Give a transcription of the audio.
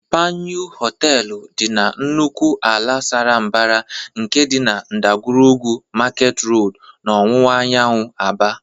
Panyụ Họteelụ dị na nnukwu ala sara mbara nke dị na ndagwurugwu Market Road n'ọwụwa anyanwụ Aba.